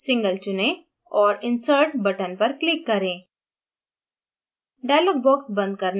strands में single चुने और insert button पर click करें